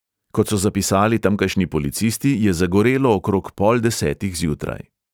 Kot so zapisali tamkajšnji policisti, je zagorelo okrog pol desetih zjutraj.